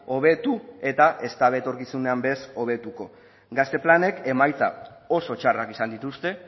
hobetu eta ez dute etorkizunean ere ez hobetuko gazte planek emaitza oso txarrak izan dituzte